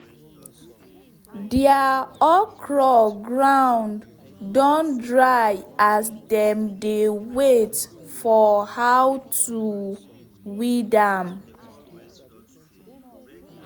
deir okro ground don dry as dem dey wait for how to weed am